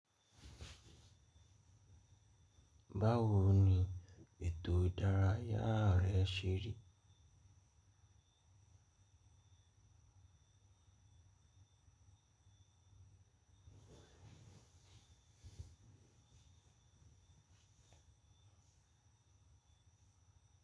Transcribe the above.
Báwo ni ètò ìdárayá rẹ ṣe rí?